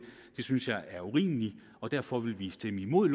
synes jeg er urimelig og derfor vil vi stemme imod